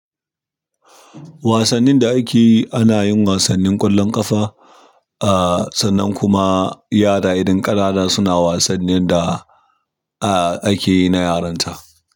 Wasannin da ake yi, ana yin wasannin ƙwallon ƙafa, ah sannan kuma yara idan ƙanana suna wasannin da ah ake yi na yaranta.